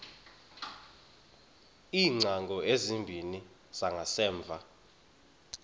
iingcango ezimbini zangasemva